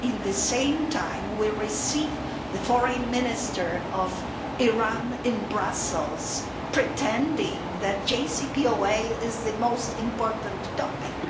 Yet, at the same time, we receive the Foreign Minister of Iran in Brussels pretending that the JCPOA is the most important topic.